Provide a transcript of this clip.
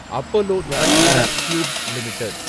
Apollo Tricoat Tubes limited